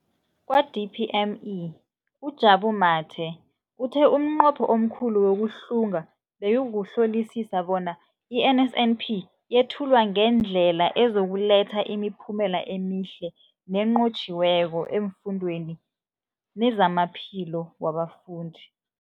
Kwa-DPME, uJabu Mathe, uthe umnqopho omkhulu wokuhlunga bekukuhlolisisa bona i-NSNP yethulwa ngendlela ezokuletha imiphumela emihle nenqotjhiweko efundweni nezamaphilo wabafundi.